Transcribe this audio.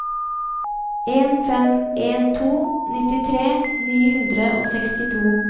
en fem en to nittitre ni hundre og sekstito